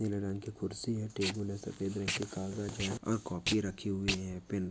नीले रंग की खुर्ची है टेबल है सफ़ेद रंग की कागज़ है और कॉपी रखी हुई है पेन--